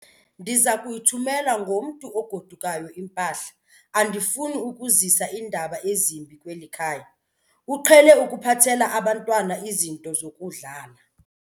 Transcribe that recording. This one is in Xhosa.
Ndiza kuyithumela ngomntu ogodukayo impahla. Andifuni ukuzisa iindaba ezimbi kweli khaya, uqhele ukuphathela abantwana izinto zokudlala.